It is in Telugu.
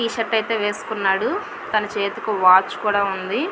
టీ-షర్ట్ ఐతే వేసుకొన్నాడు తన చేతికి వాచ్ కూడా వుంది.